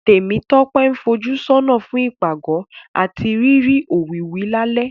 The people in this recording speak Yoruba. Tèmítọ́pẹ́ ń fojúsọ́nà fún ìpàgọ́ àti rírí òwìwí lálẹ́